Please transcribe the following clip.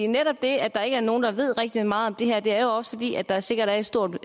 netop det at der ikke er nogen der ved rigtig meget om det her er jo også fordi der sikkert er et stort